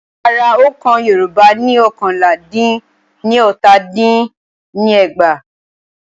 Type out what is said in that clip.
Ara òǹkà Yorùbá ni ọ́kànlá dín ní ọta din ní ẹgbàá.